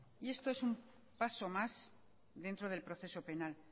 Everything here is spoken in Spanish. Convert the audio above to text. y esto es un paso más dentro del proceso penal